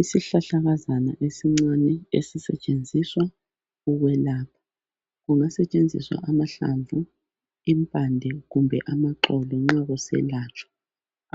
Isihlahlakazana esincane esisetshenziswa ukwelapha. Kungasetshenziswa amahlamvu, impande kumbe amaxolo nxa kuselatshwa